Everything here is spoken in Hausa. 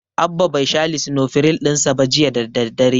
Abba bai sha lisinofiril ɗin sa ba jiya da daddare.